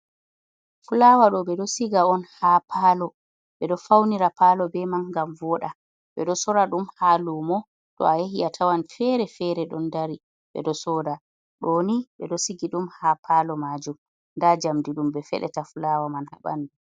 Fulawa ɗo ɓeɗo siga on ha palo ɓeɗo faunira palo be man ngam voda, ɓeɗo sorra ɗum ha lumo to a yahi a tawan fere fere ɗon dari ɓeɗo soda, ɗo ni ɓeɗo sigi ɗum ha palo majum nda jamdi ɗum be fedeta fulawa man ha ɓandu.